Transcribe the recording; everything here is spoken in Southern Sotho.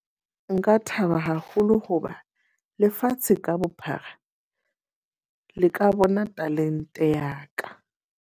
Nka thaba haholo hoba lefatshe ka bophara, le ka bona talente ya ka.